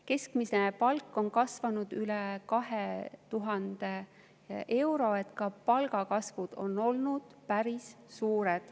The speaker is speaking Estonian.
Keskmine palk on kasvanud, see on üle 2000 euro, ka palgakasv on olnud päris suur.